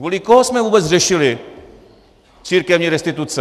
Kvůli komu jsme vůbec řešili církevní restituce?